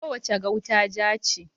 Kowace gauta ja ce.